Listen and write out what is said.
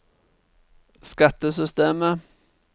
skattesystemet